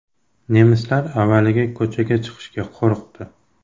Nemislar avvaliga ko‘chaga chiqishga qo‘rqdi.